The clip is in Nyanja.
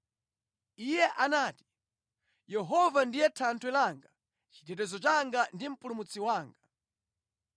Iye anati, “Yehova ndiye thanthwe langa, chitetezo changa ndi mpulumutsi wanga.